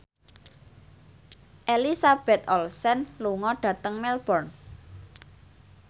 Elizabeth Olsen lunga dhateng Melbourne